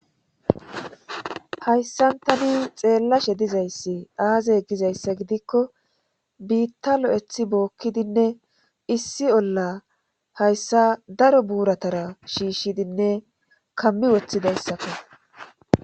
hayssan tani xeellashe dizayssi aazey gizayssa gidikko biitta lo7ethi bookkidinne issi olla hayssa daro buuratara shiishshidinne kammi woththidayssako.